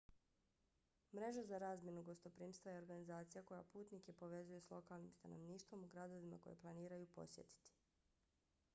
mreža za razmjenu gostoprimstva je organizacija koja putnike povezuje s lokalnim stanovništvom u gradovima koje planiraju posjetiti